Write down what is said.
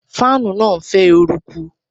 Fáànù náà ń fẹ́ eruku.